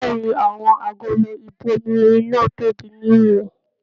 Bẹ̀ẹ́ni, àwọn agolo ibòmírin náà tóbi ní ìwòn.